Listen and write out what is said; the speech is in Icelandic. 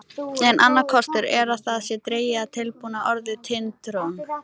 Enn annar kostur er að það sé dregið af tilbúna orðinu Tind-trón.